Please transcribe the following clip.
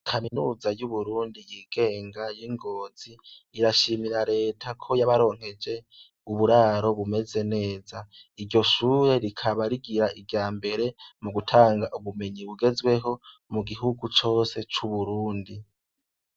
Kaminuza yu Burundi yigenga y'ingozi irashimira leta ko yabaronkeje uburaro bumeze neza. Iryo shure rikaba rigira ibya mbere mu gutanga ubumenyi bugezweho mu gihugu cose cu Burundi.